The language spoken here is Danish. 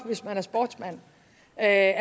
at